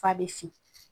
F'a bɛ fin